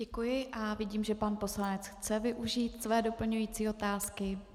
Děkuji a vidím, že pan poslanec chce využít své doplňující otázky.